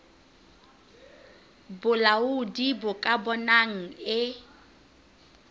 bolaodi bo ka bonang e